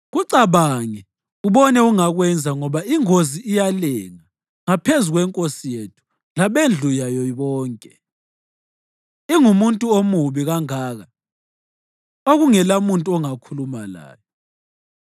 Kucabange ubone ongakwenza ngoba ingozi iyalenga ngaphezu kwenkosi yethu labendlu yayo bonke. Ingumuntu omubi kangaka okungelamuntu ongakhuluma layo.”